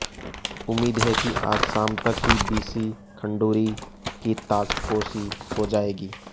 उम्मीद है कि आज शाम तक ही बी सी खंडूरी की ताजपोशी हो जायेगी